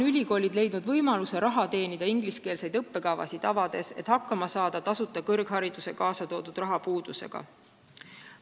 Ülikoolid on leidnud võimaluse teenida raha ingliskeelseid õppekavasid avades, et hakkama saada tasuta kõrghariduse põhjustatud rahapuudusega.